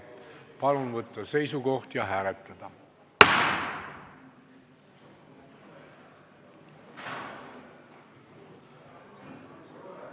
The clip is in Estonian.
Palun võtta seisukoht ja hääletada!